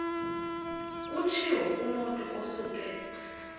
kutshiwo kumotu osuke